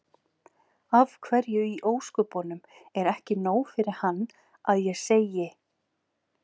Af hverju í ósköpunum er ekki nóg fyrir hann að ég segi